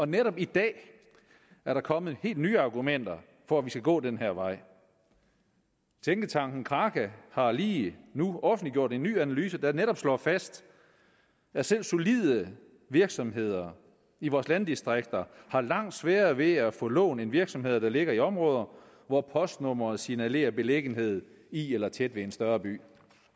netop i dag er der kommet helt nye argumenter for at vi skal gå den her vej tænketanken kraka har lige offentliggjort en ny analyse der netop slår fast at selv solide virksomheder i vores landdistrikter har langt sværere ved at få lån end virksomheder der ligger i områder hvor postnummeret signalerer beliggenhed i eller tæt ved en større by